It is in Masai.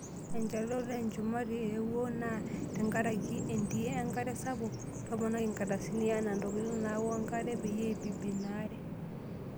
Enchalan, ore olchumati owoo naa tenkaraki entii enkare sapuk. Toponai nkardasini enaa ntokitin nawoo enkare peyie eibibi ina aare.